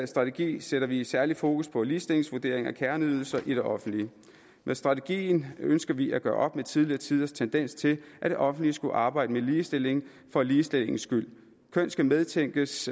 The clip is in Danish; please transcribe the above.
strategi sætter vi særligt fokus på ligestillingsvurdering af kerneydelser i det offentlige med strategien ønsker vi at gøre op med tidligere tiders tendens til at det offentlige skulle arbejde med ligestilling for ligestillingens skyld køn skal medtænkes